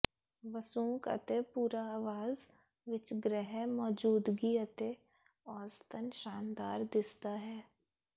ਵਸੂੰਕ ਅਤੇ ਭੂਰਾ ਆਵਾਜ਼ ਵਿੱਚ ਗ੍ਰਹਿ ਮੌਜੂਦਗੀ ਅਤੇ ਔਸਤਨ ਸ਼ਾਨਦਾਰ ਦਿਸਦਾ ਹੈ